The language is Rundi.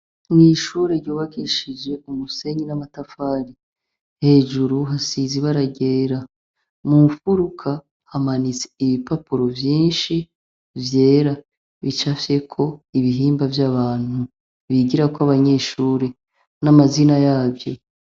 Mw'ishure ryubakishije Umusenyi n'amatafari, hejuru hasize ibara ryera Mumfuruka, hamanitse ibipapuro vyinshi vyera bicafyeko ibihimba vy'abantu bigirako abanyeshure n'amazina yavyo